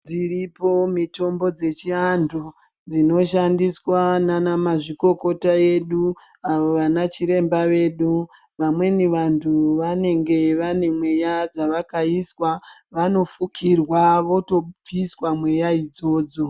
Dziripo mutombo dzechiantu dzinoshandiswa ndiana mazvikokota vedu avo vana chiremba vedu vamweni vantu vanenge vane mweya dzavakaiswa vanofukirwa votobviswa mweya idzodzo.